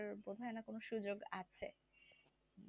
বোধ হয়না সুযোগ আছে